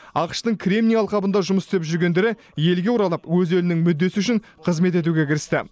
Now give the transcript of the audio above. ақш тың кремний алқабында жұмыс істеп жүргендері елге оралып өз елінің мүддесі үшін қызмет етуге кірісті